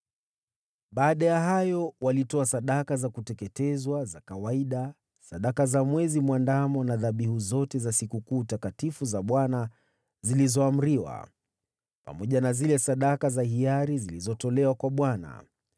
Baada ya hayo, walitoa sadaka za kuteketezwa za kawaida, sadaka za Mwezi Mwandamo na dhabihu zote za sikukuu takatifu za Bwana zilizoamriwa, pamoja na zile sadaka za hiari zilizotolewa kwa Bwana .